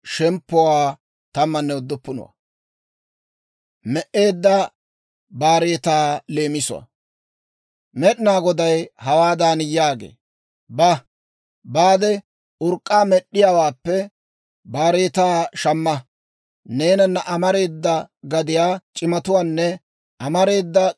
Med'inaa Goday hawaadan yaagee; «Ba; urk'k'aa med'd'iyaawaappe baareetaa shamma. Neenanna amareedda gadiyaa c'imatuwaanne amareedda k'eesiyaa c'imatuwaa akkaade,